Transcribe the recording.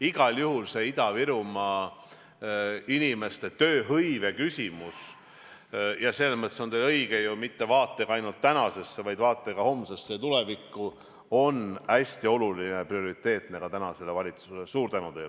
Igal juhul Ida-Virumaa inimeste tööhõive küsimus – selles mõttes on teil ju õigus –, mitte vaatega ainult tänasesse, vaid vaatega ka homsesse ja tulevikku, on hästi oluline ja prioriteetne ka tänasele valitsusele.